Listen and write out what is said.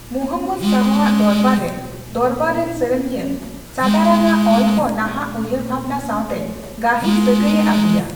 ᱢᱩᱦᱚᱢᱢᱚᱫᱽ ᱥᱟᱦᱚ ᱟᱜ ᱫᱚᱨᱵᱟᱨ ᱨᱮ ᱫᱚᱨᱵᱟᱨ ᱨᱮᱱ ᱥᱮᱨᱮᱧᱤᱭᱟᱹ ᱥᱟᱫᱟᱨᱟᱝ ᱟᱜ ᱚᱞ ᱠᱚ ᱱᱟᱦᱟᱜ ᱩᱭᱦᱟᱹᱨ ᱵᱷᱟᱵᱽᱱᱟ ᱥᱟᱣᱛᱮ ᱜᱟᱹᱦᱤᱨ ᱥᱟᱹᱜᱟᱹᱭᱮ ᱟᱹᱜᱩᱭᱟ ᱾